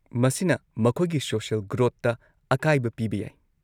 ꯃꯁꯤꯅ ꯃꯈꯣꯏꯒꯤ ꯁꯣꯁꯤꯑꯦꯜ ꯒ꯭ꯔꯣꯊꯇ ꯑꯀꯥꯏꯕ ꯄꯤꯕ ꯌꯥꯏ꯫